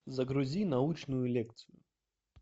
загрузи научную лекцию